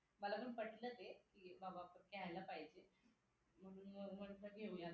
मला पण पटलं ते की बाबा आपण घ्यायला पाहिजे म्हणून मग म्हटलं घेऊयात आणि त्यांना हा